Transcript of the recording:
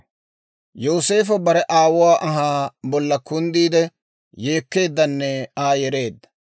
Yooseefo bare aawuwaa anhaa bolla kunddiide, yeekkeeddanne Aa yereedda.